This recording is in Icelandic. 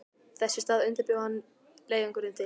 Þess í stað undirbjó hann leiðangurinn til